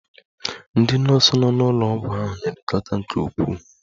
Ndị nọọsụ nọ n'ụlọ ọgwụ ahụ na-elekọta nke ukwuu